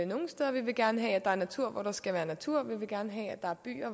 nogle steder vi vil gerne have at der er natur hvor der skal være natur vi vil gerne have at der er byer